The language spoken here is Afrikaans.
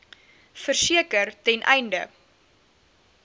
verseker ten einde